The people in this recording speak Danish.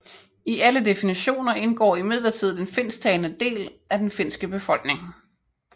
I alle definitioner indgår imidlertid den finsktalende del af den finske befolkning